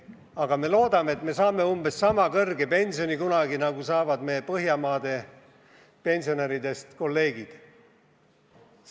Samas me loodame, et saame kunagi umbes sama suure pensioni, nagu saavad meie Põhjamaade pensionäridest kolleegid.